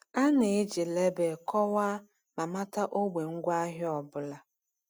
A na-eji label kọwaa ma mata ogbe ngwaahịa ọ bụla.